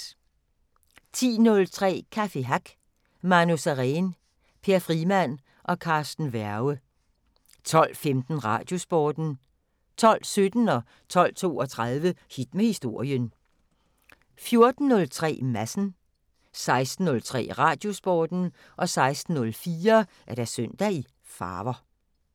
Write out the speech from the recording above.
10:03: Café Hack Manu Sareen, Per Frimann og Carsten Werge 12:15: Radiosporten 12:17: Hit med Historien 12:32: Hit med Historien 14:03: Madsen 16:03: Radiosporten 16:04: Søndag i farver